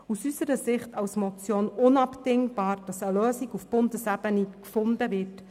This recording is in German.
Es ist aus unserer Sicht unabdingbar, dass eine Lösung auf Bundesebene gefunden wird.